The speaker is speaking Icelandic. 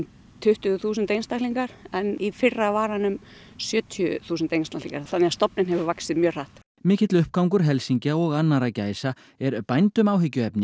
tuttugu þúsund einstaklingar en í fyrra var hann um sjötíu þúsund einstaklingar þannig að stofninn hefur vaxið mjög hratt mikill uppgangur helsingja og annarra gæsa er bændum áhyggjuefni